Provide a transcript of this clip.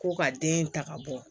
Ko ka den in ta ka bɔ